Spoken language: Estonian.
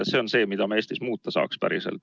See on asi, mida me Eestis tõesti muuta saaks.